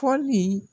Fɔli